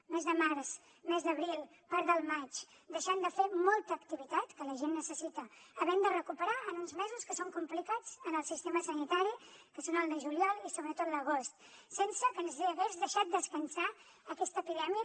mes de març mes d’abril part del maig deixant de fer molta activitat que la gent necessita havent de recuperar en uns mesos que són complicats en el sistema sanitari que són el de juliol i sobretot l’agost sense que ens hagi deixat descansar aquesta epidèmia